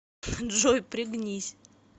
джой пригнись